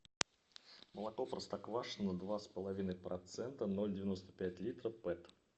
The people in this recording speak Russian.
молоко простоквашино два с половиной процента ноль девяносто пять литра пэт